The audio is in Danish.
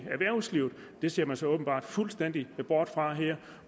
erhvervslivet det ser man så åbenbart fuldstændig bort fra her